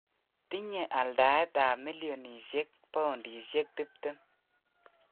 Tinye aldaet ap milionishek poundikshek 20.